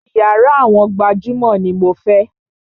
Iyàrá àwọn gbajúmọ̀ ní mo fẹ́!